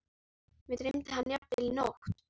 Mig dreymdi hann jafnvel í nótt.